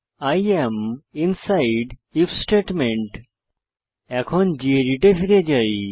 I am inside if statement এখন গেদিত এ ফিরে যাই